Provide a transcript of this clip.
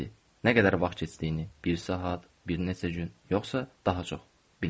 Nə qədər vaxt keçdiyini, bir saat, bir neçə gün, yoxsa daha çox bilmirəm.